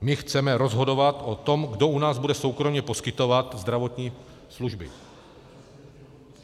My chceme rozhodovat o tom, kdo u nás bude soukromě poskytovat zdravotní služby.